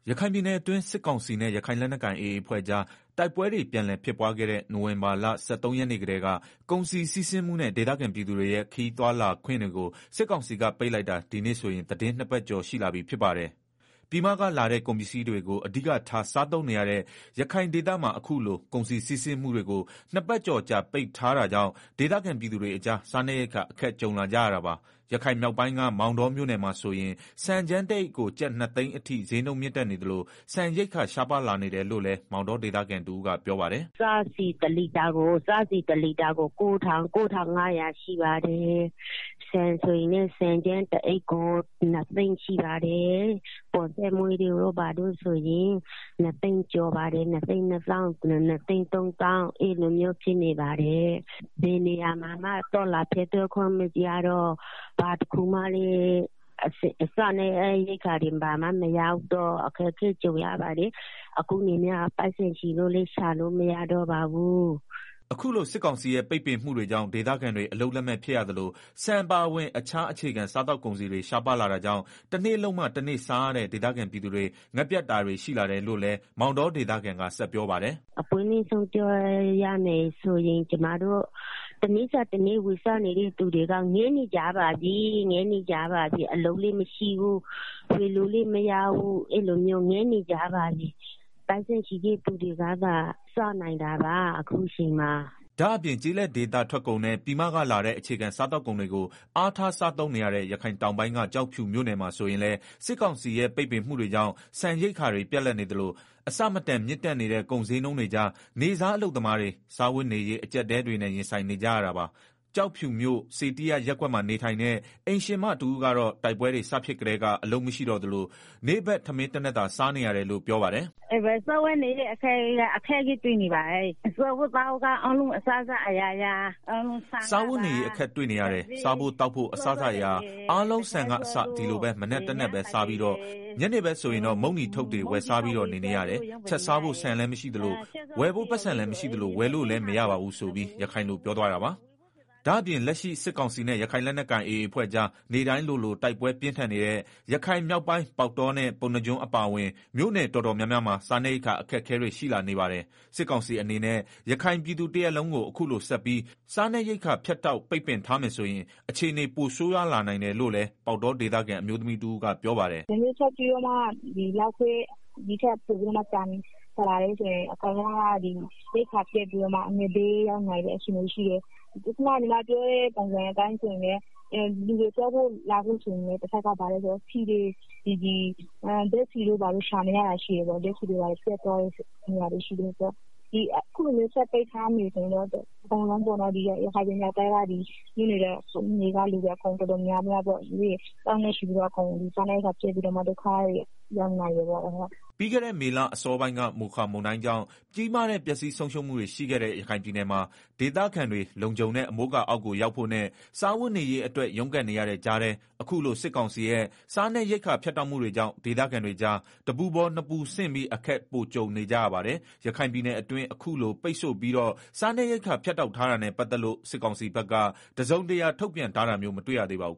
ရခိုင်ပြည်နယ်အတွင်း စစ်ကောင်စီနဲ့ ရခိုင်လက်နက်ကိုင် AA အဖွဲ့ကြား တိုက်ပွဲတွေ ပြန်လည် ဖြစ်ပွားခဲ့တဲ့ နိုင်ဝင်ဘာလ ၁၃ရက်နေ့ကတည်းက ကုန်စည်စီးဆင်းမှုနဲ့ ဒေသခံပြည်သူတွေရဲ့ ခရီးသွားလာခွင့်တွေကို စစ်ကောင်စီက ပိတ်လိုက်တာ ဒီနေ့ဆိုရင် သီတင်းနှစ်ပတ်ကျော် ရှိလာပြီ ဖြစ်ပါတယ်။ ပြည်မကလာတဲ့ ကုန်ပစ္စည်းတွေကို အဓိကထား စားသုံးနေရတဲ့ ရခိုင်ဒေသမှာ အခုလို ကုန်စည်စီးဆင်းမှုတွေကို နှစ်ပတ်ကျော်ကြာ ပိတ်ထားတာကြောင့် ဒေသခံပြည်သူတွေအကြား စားနပ်ရိက္ခာ အခက်ကြုံလာကြရတာပါ။ ရခိုင်မြောက်ပိုင်းက မောင်တောမြို့နယ်မှာဆိုရင် ဆန်ကြမ်းတအိတ်ကို ကျပ် ၂သိန်းအထိ စျေးနှုန်းမြင့်တက်နေသလို ဆန်ရိက္ခာ ရှားပါးလာနေတယ်လို့လည်း မောင်တောဒေသခံ တဦးက ပြောပါတယ်။ “စားဆီတလီတာကို ၉,၅ဝဝ ရှိပါတယ်။ ဆန်ဆိုရင်လည်း ဆန်ကြမ်းတအိတ်ကို ၂သိန်းရှိပါတယ်။ ပေါ်ဆန်းမွေးတို့ ဘာတို့ဆိုရင် ၂သိန်း ကျော်ပါတယ်။ အဲလိုမျိုးဖြစ်နေပါတယ်။ ဘယ်နေရာမှာမှ သွားလာဖြတ်သန်းခွင့်မရတော့ စားနပ်ရိက္ခာတွေလည်း မရောက်တော့ အခက်အခဲကြုံ ရပါတယ်။ အခုက ပိုက်ဆံရှိရင်တောင် ရှာလို့မရတော့ပါဘူး။” အခုလို စစ်ကောင်စီရဲ့ ပိတ်ပင်မှုတွေကြောင့် ဒေသခံတွေ အလုပ်လက်မဲ့ဖြစ်ရသလို ဆန်အပါအဝင် တခြား အေခြခံ စားသောက် ကုန်စည်တွေ ရှားပါးလာတာကြောင့် တနေ့လုပ်မှ တနေ့စားရတဲ့ ဒေသခံပြည်သူတွေ ငတ်ပြတ်တာတွေ ရှိလာတယ်လို့လည်း မောင်တောဒေသခံက ဆက်ပြောပါတယ်။ “အပွင့်လင့်ဆုံးပြောရရင် တနေ့စာတနေ့ ဝယ်စားနေတဲ့ သူတွေကတော့ အခုဆိုရင် ငတ်နေကြပါပြီ၊ ငတ်နေကြပြီ။ အလုပ်လည်း မရှိဘူး၊ ဝယ်လို့လည်းမရဘူး။ အဲလိုမျိုး ငတ်နေကြပါပြီ။ ပိုက်ဆံရှိတဲ့ သူတွေကသာ စားနိုင်တာပါ။ အခုအချိန်မှာ အဲလိုဖြစ်နေတယ်။” ဒါ့အပြင် ကျေးလက်ဒေသ ထွက်ကုန်နဲ့ ပြည်မကလာတဲ့ အခြေခံစားသောက်ကုန်တွေကို အားထား စားသုံးနေရတဲ့ ရခိုင်တောင်ပိုင်းက ကျောက်ဖြူမြို့နယ်မှာ ဆိုရင်လည်း စစ်ကောင်စီရဲ့ ပိတ်ပင်မှုတွေကြောင့် ဆန်ရိက္ခာတွေ ပြတ်လပ်နေသလို အဆမတန် မြင့်တက်နေတဲ့ ကုန်စျေးနှုန်းတွေကြား နေ့စားအလုပ်သမားတွေ စားဝတ်နေရေး အကြပ်အတည်းတွေနဲ့ ရင်ဆိုင်နေ ကြရတာပါ။ ကျောက်ဖြူမြို့ စေတိယျ ရပ်ကွက်မှာနေထိုင်တဲ့ အိမ်ရှင်မတဦးကတော့ တိုက်ပွဲ စဖြစ်ကတည်းက အလုပ်မရှိတော့သလို နေ့ထမင်းတနပ်သာ စားနေရတယ်လို့ ပြောပါတယ်။ “စားဝတ်နေရေးအခက်တွေ့နေတယ်၊ စားဖို့သောက်ဖို့ အစစအရာရာ အားလုံး ဆန်ကအစ ဒီလိုပဲ မနက်တထပ်ပဲ စားပြီးတော့ ညနေဆိုရင် မုန့်တီထုပ်တွေ ဝယ်စားပြီးတော့ နေရတယ်၊ ချက်စားဖို့ ဆန်လည်းမရှိ ဝယ်ဖို့ ပိုက်ဆံလည်းမရှိဝယ်လို့လည်းမရ။” ဒါ့အပြင် လက်ရှိစစ်ကောင်စီနဲ့ ရခိုင်လက်နက်ကိုင် AA အဖွဲ့ကြား နေ့တိုင်းလိုလို တိုက်ပွဲ ပြင်းထန်နေတဲ့ ရခိုင်မြောက်ပိုင်း ပေါက်တောနဲ့ ပုဏ္ဏားကျွန်း အပါအဝင် မြို့နယ်တော် တော်များများမှာလည်း စားနပ်ရိက္ခာ အခက်အခဲတွေ ရှိလာနေပါတယ်။ စစ်ကောင်စီအနေနဲ့ ရခိုင်ပြည်သူတရပ်လုံးကို အခုလိုဆက်ပြီး စားနပ်ရိက္ခာ ဖြတ်တောက် ပိတ်ပင်ထားမယ်ဆိုရင် အခြေအနေ ပိုဆိုးရွားလာနိုင်တယ်လို့လည်း ပေါက်တော ဒေသခံ အမျိုးသမီးတဦးက ပြောပါတယ်။ “ဒီထက်ပိုပြီးတော့ ကြာလာမယ်ဆိုရင်တော့ အကုန်လုံးက ရိက္ခာပြတ်ပြီးတော့မှ အငတ် ဘေးရောက်နိုင်တဲ့ အခြေအနေရှိတယ်၊ တဖက် လူတွေ သွားဖို့လာဖို့ဆိုရင်လည်း ဆီတွေ ရှာမရတာရှိတယ်၊ အခုလို ဆက်ပိတ်ထားမယ်ဆိုရင်တော့ ရခိုင်မြောက်ပိုင်းက မြို့နယ် ကလူတွေ အကုန်လုံးစားနပ်ရိက္ခာပြတ်ပြီးတော့ ဒုက္ခရောက်နိုင်တယ်ပေါ့။” ပြီးခဲ့တဲ့ မေလ အစောပိုင်းက မိုခါမုန်တိုင်းကြောင့် ကြီးမားတဲ့ ပျက်ဆီးဆုံးရှုံးမှုတွေ ရှိခဲ့တဲ့ ရခိုင်ပြည်နယ်မှာ ဒေသခံတွေ လုံခြုံတဲ့ အမိုးအကာအောက်ကို ရောက်ဖို့နဲ့ စားဝတ်နေရေးအတွက် ရုန်းကန်နေရတဲ့ကြားထဲ အခုလို စစ်ကောင်စီရဲ့ စားနပ်ရိက္ခာ ဖြတ်တောက်မှုတွေကြောင့် ဒေသခံတွေကြား တပူပေါ် နှစ်ပူဆင့်ပြီး အခက် ပိုကြုံနေကြရပါတယ်။ ရခိုင်ပြည်နယ်အတွင်း အခုလို ပိတ်ဆို့ပြီးတော့ စားနပ်ရိက္ခာဖြတ်တောက်ထားတာနဲ့ ပတ်သတ်လို့ စစ်ကောင်စီဘက်က တစုံတရာ ထုတ်ပြန်တမျိုး မတွေ့ရသေးပါဘူး